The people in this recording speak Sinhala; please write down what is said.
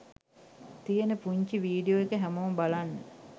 තියෙන පුංචි වීඩියෝ එක හැමෝම බලන්න.